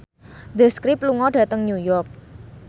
The Script lunga dhateng New York